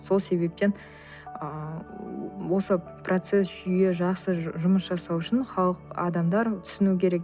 сол себептен ы осы процесс жүйе жақсы жұмыс жасау үшін халық адамдар түсіну керек